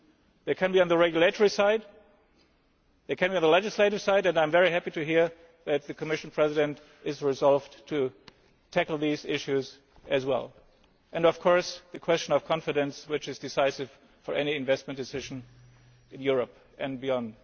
it. They can be on the regulatory side, they can be on the legislative side, and I am very happy to hear that the Commission President is resolved to tackle these issues as well, and, of course, the question of confidence, which is decisive for any investment decision in Europe and beyond.